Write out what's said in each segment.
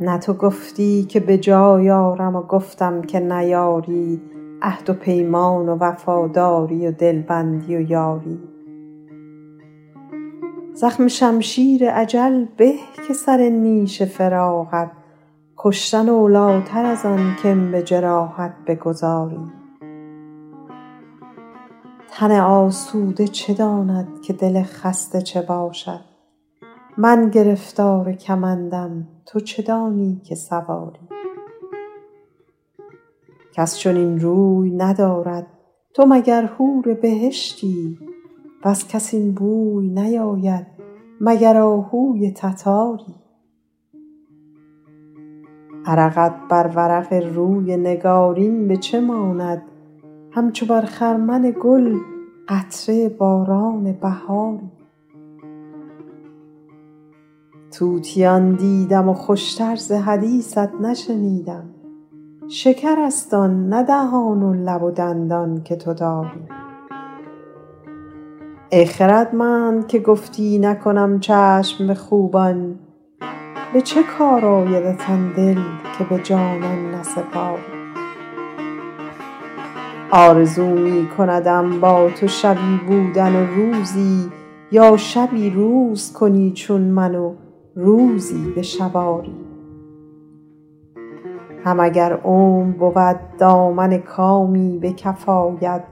نه تو گفتی که به جای آرم و گفتم که نیاری عهد و پیمان و وفاداری و دلبندی و یاری زخم شمشیر اجل به که سر نیش فراقت کشتن اولاتر از آن که م به جراحت بگذاری تن آسوده چه داند که دل خسته چه باشد من گرفتار کمندم تو چه دانی که سواری کس چنین روی ندارد تو مگر حور بهشتی وز کس این بوی نیاید مگر آهوی تتاری عرقت بر ورق روی نگارین به چه ماند همچو بر خرمن گل قطره باران بهاری طوطیان دیدم و خوش تر ز حدیثت نشنیدم شکرست آن نه دهان و لب و دندان که تو داری ای خردمند که گفتی نکنم چشم به خوبان به چه کار آیدت آن دل که به جانان نسپاری آرزو می کندم با تو شبی بودن و روزی یا شبی روز کنی چون من و روزی به شب آری هم اگر عمر بود دامن کامی به کف آید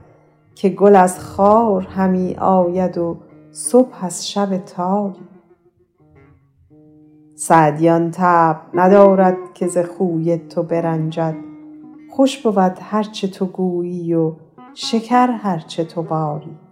که گل از خار همی آید و صبح از شب تاری سعدی آن طبع ندارد که ز خوی تو برنجد خوش بود هر چه تو گویی و شکر هر چه تو باری